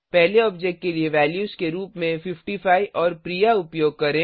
पहले ऑब्जेक्ट के लिए वैल्यूज के रुप में 55 और प्रिया उपयोग करें